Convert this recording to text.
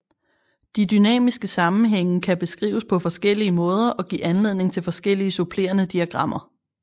De dynamiske sammenhænge kan beskrives på forskellige måder og give anledning til forskellige supplerende diagrammer